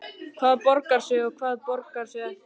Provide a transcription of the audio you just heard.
Hvað borgar sig og hvað borgar sig ekki?